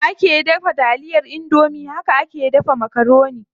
Yanda ake daga taliyar indomie haka ake dafa makaroni.